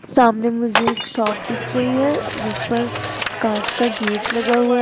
सामने मुझे एक शॉप दिख रही है जिस पर कांच का गेट लगा हुआ है।